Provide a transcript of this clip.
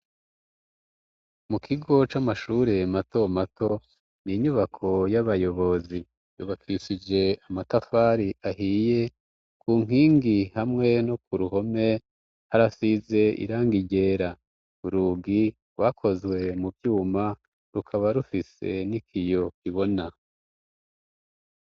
Mu kigo c'amashure matomato ni inyubako y'abayobozi yubakishije amatafari ahiye ku nkingi hamwe no ku ruhome harasize iranga igera urugi wakozwe mu vyuma rukaba rufise n'ikiyo kibona.